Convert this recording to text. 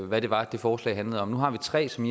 hvad det var det forslag handlede om nu har vi tre som